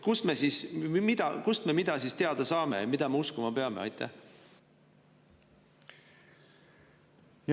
Kust me siis mida teada saame ja mida me uskuma peame?